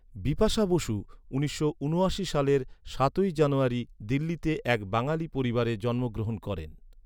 বিপাশা বসু উনিশশো ঊনআশি সালের সাতই জানুয়ারি দিল্লিতে এক বাঙালি পরিবারে জন্মগ্রহণ করেন।